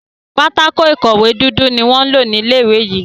pátákó ìkọ̀wé dúdú ní wón ló ní ilé ìwé yí.